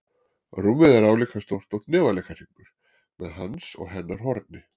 Rúmið er álíka stórt og hnefaleikahringur, með hans og hennar horni.